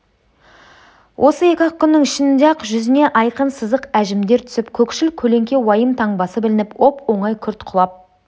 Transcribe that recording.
осы екі-ақ күннің ішінде ақ жүзіне айқын сызық әжімдер түсіп көкшіл көлеңке уайым таңбасы білініп оп-оңай күрт құлап